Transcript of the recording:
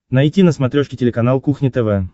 найти на смотрешке телеканал кухня тв